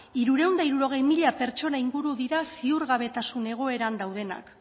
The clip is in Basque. hirurehun eta hirurogei mila pertsona inguru dira ziurgabetasun egoeran daudenak